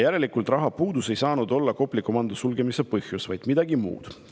Järelikult rahapuudus ei saanud olla Kopli komando sulgemise põhjus, vaid midagi muud.